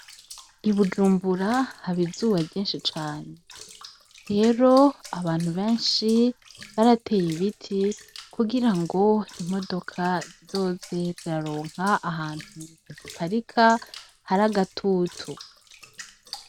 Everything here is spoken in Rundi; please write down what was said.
Ibujumbura haba izuba ryinshi cane, rero abantu benshi barateye ibiti kugira ngo imodoka zizoze ziraronka ahantu haziparika hari agatutu.